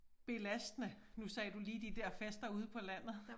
Belastende nu sagde du lige de der fester ude på landet